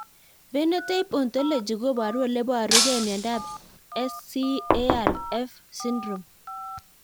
Phenotype ontology koporu ole iparukei miondo SCARF syndrome